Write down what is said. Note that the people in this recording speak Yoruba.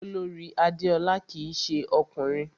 Olorì Adéọlá kìí se ọkùnrin